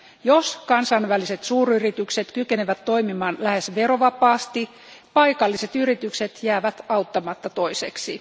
Jos kansainväliset suuryritykset kykenevät toimimaan lähes verovapaasti, paikalliset yritykset jäävät auttamatta toiseksi.